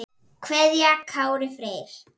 kveðja Kári Freyr.